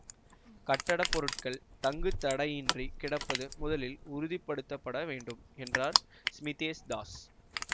கட்டடப் பொருட்கள் தங்கு தடையின்றி கிடைப்பது முதலில் உறுதிப்படுத்தப்பட வேண்டும் என்றார் ஸ்மித்தேஷ் தாஸ்